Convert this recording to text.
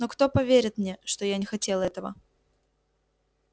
но кто поверит мне что я не хотел этого